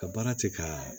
Ka baara kɛ ka